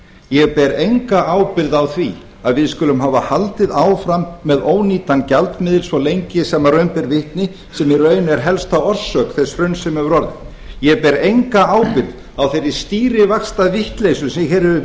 ég ber enga ábyrgð á því að hið skulum hafa haldið áfram með ónýtan gjaldmiðil svo lengi sem raun ber vitni sem í raun er helsta orsök þess hruns sem hefur orðið ég ber enga ábyrgð á þeirri stýrivaxtavitleysu sem hér hefur